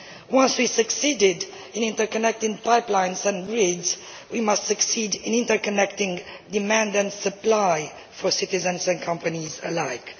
Once we have succeeded in interconnecting pipelines and grids, we must succeed in interconnecting demand and supply for citizens and companies alike.